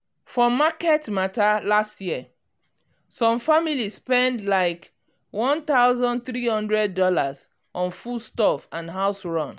for market matter last year last year some family spend likeone thousand three hundred dollarson foodstuff and house run.